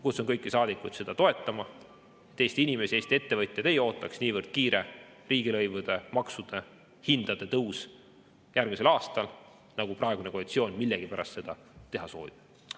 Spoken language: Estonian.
Kutsun kõiki saadikuid seda toetama, et Eesti inimesi ja Eesti ettevõtjad ei ootaks niivõrd kiire riigilõivude, maksude ja hindade tõus järgmisel aastal, nagu praegune koalitsioon millegipärast teha soovib.